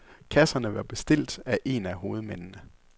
Kasserne var bestilt af en af hovedmændene.